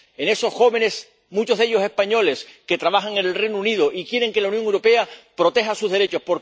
en esos jóvenes, muchos de ellos españoles, que trabajan en el Reino Unido y quieren que la Unión Europea proteja sus derechos.